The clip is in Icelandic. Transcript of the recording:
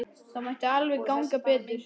Það mætti alveg ganga betur.